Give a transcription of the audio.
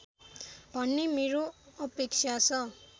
भन्ने मेरो अपेक्षा छ